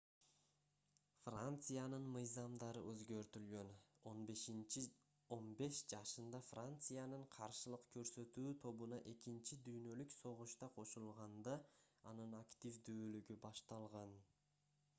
франциянын мыйзамдары өзгөртүлгөн 15 жашында франциянын каршылык көрсөтүү тобуна экинчи дүйнөлүк согушта кошулганда анын активдүүлүгү башталган